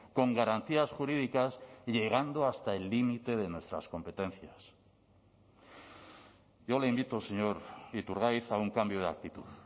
con garantías jurídicas llegando hasta el límite de nuestras competencias yo le invito señor iturgaiz a un cambio de actitud